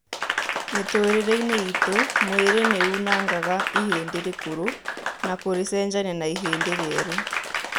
Mĩtũrĩre-inĩ itũ, mwĩrĩ nĩunangaga ihĩndĩ rĩkũrũ na kũrĩcenjania na ihĩndĩ rĩerũ